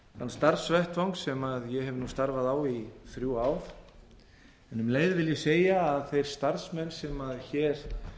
starfsvettvang sem ég hef nú starfað á í þrjú ár en um leið vil ég segja að þeir starfsmenn sem hér